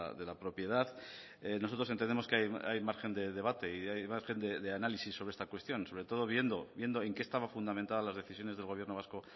de la propiedad nosotros entendemos que hay margen de debate y hay margen de análisis de esta cuestión sobre todo viendo en qué estaba fundamentada las decisiones del gobierno vasco